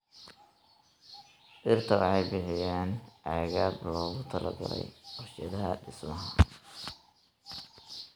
Dhirta waxay bixiyaan agab loogu talagalay warshadaha dhismaha.